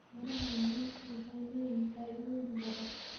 Miraha lebenku waxay leeyihiin faa'iidooyin badan.